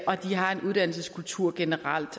og de har en uddannelseskultur generelt